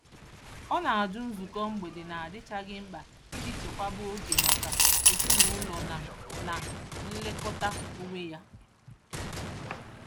Ọ na-ajụ nzukọ mgbede na-adịchaghị mkpa iji chekwaba oge maka ezinụụlọ na na nlekọta onwe ya.